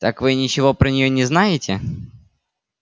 так вы ничего про нее не знаете